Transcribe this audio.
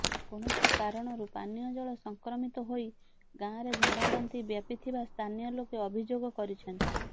କୌଣସି କାରଣରୁ ପାନୀୟ ଜଳ ସଂକ୍ରମିତ ହୋଇ ଗାଁରେ ଝାଡ଼ାବାନ୍ତି ବ୍ୟାପି ଥିବା ସ୍ଥାନୀୟ ଲୋକେ ଅଭିଯୋଗ କରିଛନ୍ତି